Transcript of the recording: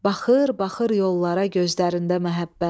Baxır, baxır yollara gözlərində məhəbbət.